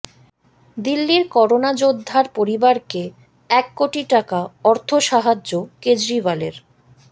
দিল্লির করোনা যোদ্ধার পরিবারকে এক কোটি টাকা অর্থ সাহায্য কেজরিওয়ালের